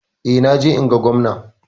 Eh, na je in ga Gwamna.